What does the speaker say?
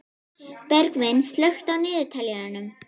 Bergvin, slökktu á niðurteljaranum.